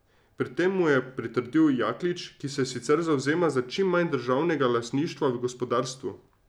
Pri tem mu je pritrdil Jaklič, ki se sicer zavzema za čim manj državnega lastništva v gospodarstvu.